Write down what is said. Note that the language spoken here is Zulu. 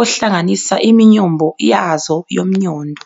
ohlanganisa iminyombo yazo yomnyondo.